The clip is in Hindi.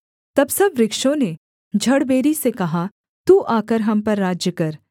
तब सब वृक्षों ने झड़बेरी से कहा तू आकर हम पर राज्य कर